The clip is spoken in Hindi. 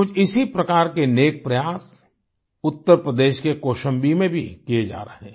कुछ इसी प्रकार के नेक प्रयास उत्तर प्रदेश के कौशाम्बी में भी किये जा रहे हैं